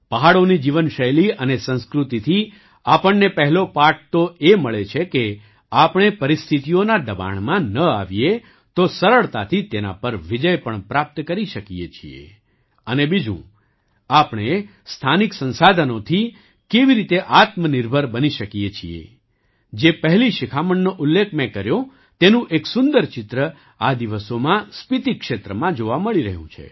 પહાડોની જીવનશૈલી અને સંસ્કૃતિથી આપણને પહેલો પાઠ તો એ મળે છે કેઆપણે પરિસ્થિતિઓના દબાણમાં ન આવીએ તો સરળતાથી તેના પર વિજય પણ પ્રાપ્ત કરી શકીએ છીએ અને બીજું આપણે સ્થાનિક સંસાધનોથી કેવી રીતે આત્મનિર્ભર બની શકીએ છીએ જે પહેલી શિખામણનો ઉલ્લેખ મેં કર્યો તેનું એક સુંદર ચિત્ર આ દિવસોમાં સ્પીતિ ક્ષેત્રમાં જોવા મળી રહ્યું છે